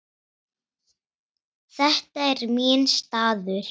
Þetta er minn staður.